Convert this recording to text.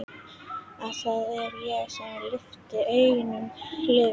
Að það er ég sem lifi engu lífi.